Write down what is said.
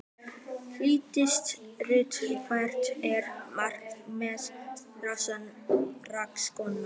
Hjördís Rut: Hvert er markmið þessarar rannsóknar?